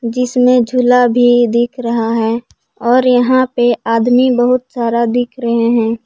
जिसमें झूला भी दिख रहा है और यहां पे आदमी बहुत सारा दिख रहे हैं।